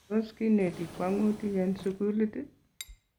Tos kinetii kwang'utiik en sukulit?